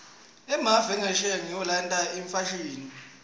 emave angesheya ngiwo laletsa imfashini